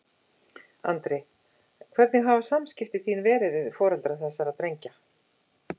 Andri: Hvernig hafa samskipti þín verið við foreldra þessara drengja?